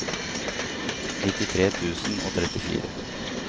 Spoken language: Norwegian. nittitre tusen og trettifire